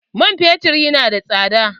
Man fetur ya na da tsada.